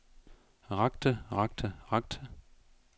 rakte rakte rakte